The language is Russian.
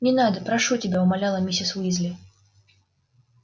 не надо прошу тебя умоляла миссис уизли